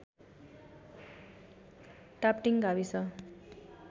टापटिङ गाविस